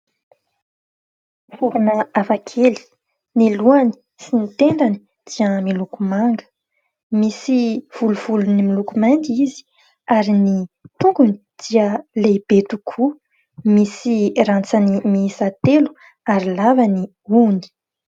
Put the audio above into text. Vorona hafakely ny lohany sy ny tendany dia miloko manga, misy volovolony miloko mainty izy ary ny tongony dia lehibe tokoa, misy rantsany miisa telo ary lava ny hohony.